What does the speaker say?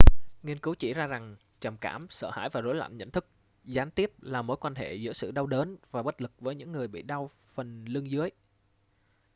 nghiên cứu chỉ ra rằng trầm cảm sợ hãi và rối loạn nhận thức gián tiếp là mối quan hệ giữa sự đau đớn và bất lực với những người bị đau phần lưng dưới